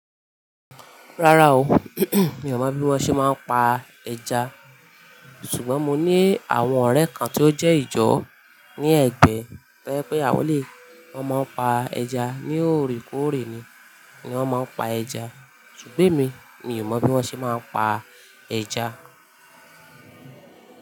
Rárá o mi ò mọ bí wọ́n ṣe máa ń pa ẹja. Ṣùgbọ́n mo ní àwọn ọ̀rẹ́ kan tí ó jẹ́ ìjọ ní Ẹgbẹ́ tẹ́ pé àwọn lè, wón máa ń pa ẹja. Ni òrèkóòrè ni wọ́n máa ń pa ẹja. Ṣùgbẹ́ mi, mi ò mọ bí wọ́n ṣe máa ń pa ẹja.